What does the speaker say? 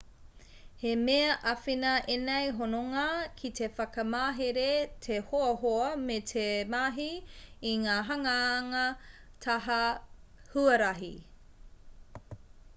he mea āwhina ēnei hononga ki te whakamahere te hoahoa me te mahi i ngā hanganga taha huarahi